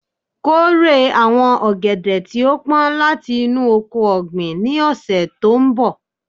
Kore awọn ogede ti o pọn lati inu oko-ọgbin ni ọsẹ to nbọ